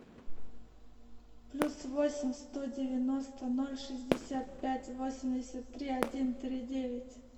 плюс восемь сто девяносто ноль шестьдесят пять восемьдесят три один три девять